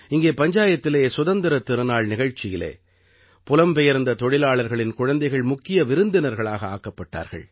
இங்கே பஞ்சாயத்திலே சுதந்திரத் திருநாள் நிகழ்ச்சியிலே புலம்பெயர்ந்த தொழிலாளிகளின் குழந்தைகள் முக்கிய விருந்தினர்களாக ஆக்கப்பட்டார்கள்